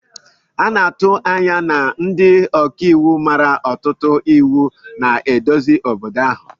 A na-atụ anya na ndị ọka iwu mara ọtụtụ iwu na-eduzi obodo ahụ